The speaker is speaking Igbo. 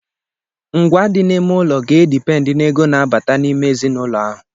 Ngwá dị n'ime ụlọ ga-edipendi n'ego na-abata n'ime ezinụlọ ahụ.